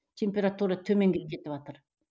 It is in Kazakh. температура төмендеп кетіватыр